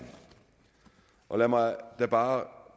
om lad mig da bare